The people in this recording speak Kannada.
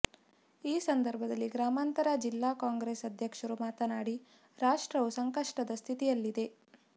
ಈ ಸಂದರ್ಭದಲ್ಲಿ ಗ್ರಾಮಾಂತರ ಜಿಲ್ಲಾ ಕಾಂಗ್ರೆಸ್ ಅಧ್ಯಕ್ಷರು ಮಾತನಾಡಿ ರಾಷ್ಟ್ರವು ಸಂಕಷ್ಟದ ಸ್ಥಿತಿಯಲ್ಲಿದೆ